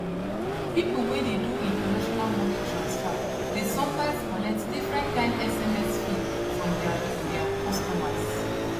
people wey dey do international money transfer dey sometimes collect different kind sms fee from their their customers